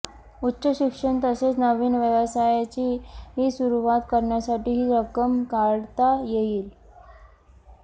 उच्चशिक्षण तसेच नवीन व्यवसायाची सुरुवात करण्यासाठी ही रक्कम काढता येईल